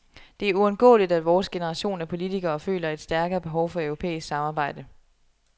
Det er uundgåeligt, at vores generation af politikere føler et stærkere behov for europæisk samarbejde.